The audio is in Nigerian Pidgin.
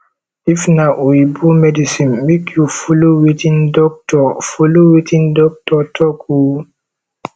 if na oyibo medicine mek you follow wetin dokitor follow wetin dokitor talk o